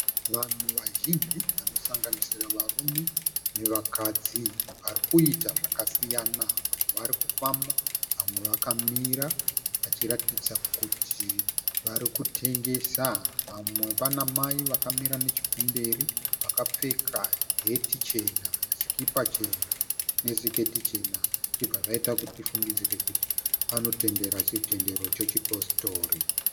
Vanhu vazhinji vanosanganisira varume nevakadzi vari kuita zvakasiyana. Vamwe vari kufamba vamwe vakamira vachiratidza kuti vari kutengesa. Vamwe pana mai vakamira nechokumberi vakapfeka heti chena, sikipa chena nesiketi chena zvichibva zvaita kuti tifungidzire kuti vanotendera chitendero chechipositori.